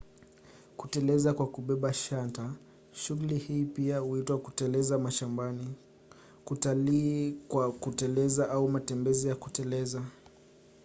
kuteleza kwa kubeba shanta: shughuli hii pia huitwa kuteleza mashambani kutalii kwa kuteleza au matembezi ya kuteleza